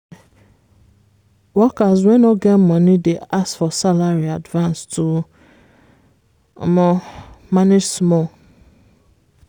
workers wey no get money dey ask for salary advance to manage small.